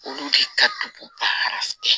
Olu de ka dugu baara fɛ